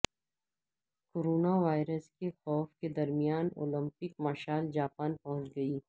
corona virus کے خوف کے درمیان اولمپک مشعل جاپان پہنچ گئی